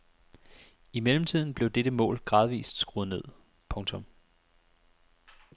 I mellemtiden blev dette mål gradvist skruet ned. punktum